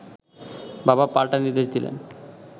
বাবা পাল্টা নির্দেশ দিলেন